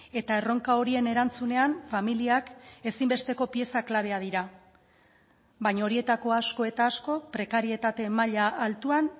eta erronka horien erantzunean familiak ezinbesteko pieza klabeak dira baina horietako asko eta asko prekarietate maila altuan